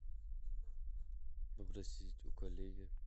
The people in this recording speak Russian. попросить у коллеги